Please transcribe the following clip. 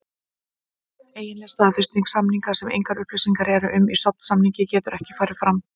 Eiginleg staðfesting samninga, sem engar upplýsingar eru um í stofnsamningi, getur ekki farið fram.